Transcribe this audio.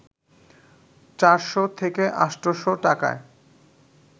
৪শ থেকে ৮শ টাকায়